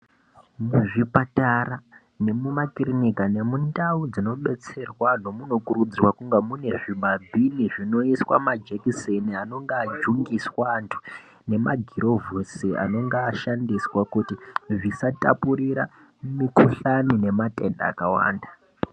Mu zvipatara ne mu makirinika ne mundau dzino detsera vantu muno kurudzirwa mune zvi ma bhini zvino iswa ma jekiseni anenge ajungiswa antu ne magirovhosi anenge ashandizvisa tapurira mu kuhlani ne matenda aka wanda.